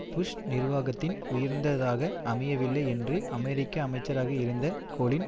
push நிர்வாகத்தின் உயர்ந்தாக அமையவில்லை என்று அமெரிக்க அமைச்சராக இருந்த கொலின்